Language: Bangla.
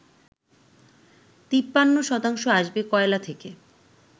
৫৩ শতাংশ আসবে কয়লা থেকে